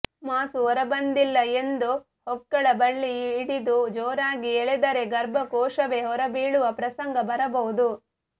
ಮಾಸು ಹೊರಬಂದಿಲ್ಲ ಎಂದು ಹೊಕ್ಕಳ ಬಳ್ಳಿ ಹಿಡಿದು ಜೋರಾಗಿ ಎಳೆದರೆ ಗರ್ಭಕೋಶವೇ ಹೊರಬೀಳುವ ಪ್ರಸಂಗ ಬರಬಹುದು